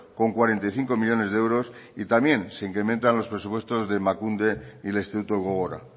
con cuarenta y cinco millónes de euros y también se incrementan los presupuestos de emakunde y el instituto gogora